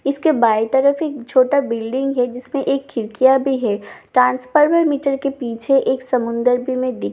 इसके बाएं तरफ एक छोटा बिल्डिंग है जिसमें एक खिड़कियां भी है ट्रांसफार्मर मिटर के पीछे समंदर भी है में देख पा रही हूँ--